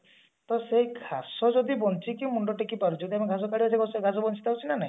ତ ସେ ଘାସ ଯଦି ବଞ୍ଚିକି ମୁଣ୍ଡ ଟେକି ପାରୁଛି କାରଣ ଘାସ ତଳେ ରହୁଛି ଘାସ ବଞ୍ଚି ରହୁଛି ନା ନାଇଁ